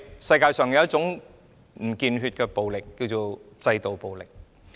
世界上有一種不見血的暴力，便是制度暴力。